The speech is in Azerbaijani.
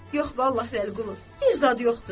Yox, vallah, Vəliqulu, bir zad yoxdur.